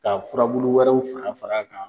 Ka furabulu wɛrɛw fana fara kan.